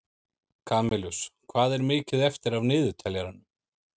Kamilus, hvað er mikið eftir af niðurteljaranum?